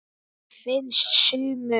Finnst sumum.